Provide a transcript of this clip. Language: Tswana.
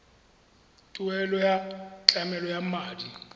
tuelo ya tlamelo ya madi